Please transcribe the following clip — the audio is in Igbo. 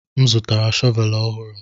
M zụtara shọvel ọhụrụ